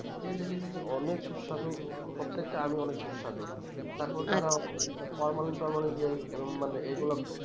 খেয়ে দেখেছে যে অনিক সুস্বাদু প্রত্যেকটা আম ই অনেক সুস্বাদু তারপর তারা formalin formalin যেই মানে এগুলো